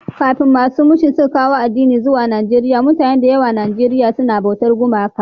Kafin masu mishan suka kawo addini zuwa Naieriya, mutane da yawa a Nijeriya sun na yi bautar gumaka.